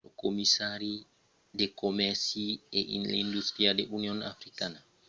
lo commissari de comèrci e d’industria de l'union africana albert muchanga anoncièt que benin èra a mand de venir membre